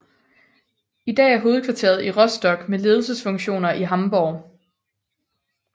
I dag er hovedkvarteret i Rostock med ledelsesfunktioner i Hamborg